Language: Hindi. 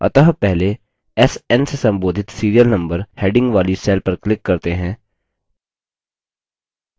अतः पहले sn से संबोधित serial number heading वाली cell पर click करते हैं